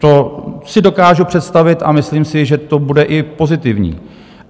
To si dokážu představit a myslím si, že to bude i pozitivní.